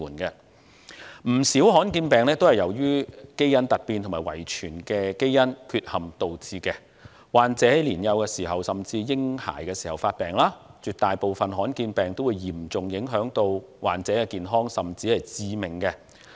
不少罕見疾病也是由基因突變和遺傳基因缺陷導致，患者在年幼甚至嬰孩時期發病，絕大部分的罕見疾病均嚴重影響患者的健康，甚或致命。